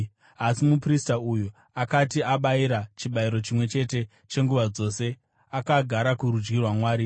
Asi muprista uyu akati abayira chibayiro chimwe chete chenguva dzose, akagara kurudyi rwaMwari.